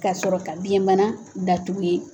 K'a sɔrɔ ka biyɛnbana datugu yen.